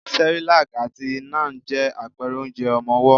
Cerelac àti Nan je àpẹrẹ onjẹ ọmọwọ́.